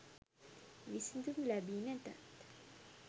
විසඳුම් ලැබි නැතත්